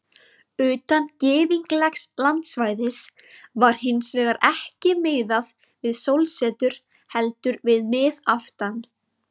Utan gyðinglegs landsvæðis var hins vegar ekki miðað við sólsetur heldur við miðaftan.